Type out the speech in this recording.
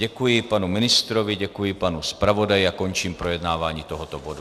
Děkuji panu ministrovi, děkuji panu zpravodaji a končím projednávání tohoto bodu.